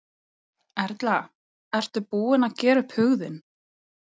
Erla: Ertu búinn að gera upp hug þinn?